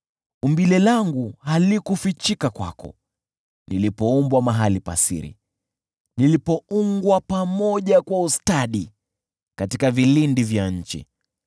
Umbile langu halikufichika kwako, nilipoumbwa mahali pa siri. Nilipoungwa pamoja kwa ustadi katika vilindi vya nchi,